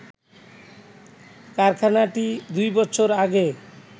কারখানাটি দুইবছর আগে